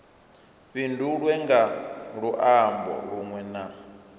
fhindulwe nga luambo lunwe na